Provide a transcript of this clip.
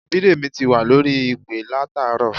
Bídèmí ti wà lórí ìpè látàárọ̀